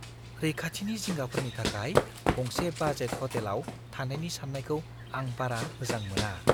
रैखाथिनि जिंगाफोरनि थाखाय गंसे बाजेट हटेलाव थानायनि साननायखौ आं बारा मोजां मोना।